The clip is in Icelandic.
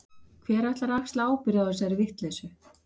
Hver ætlar að axla ábyrgð á þessari vitleysu?